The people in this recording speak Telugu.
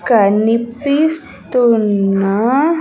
కనిపిస్తున్న.